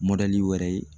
wɛrɛ ye